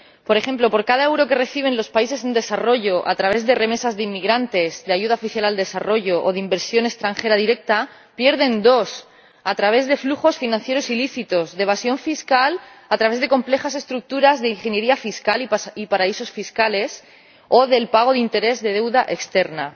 Por ejemplo, por cada euro que reciben los países en desarrollo a través de remesas de inmigrantes, de ayuda oficial al desarrollo o de inversión extranjera directa, pierden dos a través de flujos financieros ilícitos de evasión fiscal, a través de complejas estructuras de ingeniería fiscal y paraísos fiscales o del pago de intereses de la deuda externa.